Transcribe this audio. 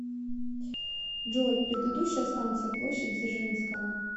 джой предыдущая станция площадь дзержинского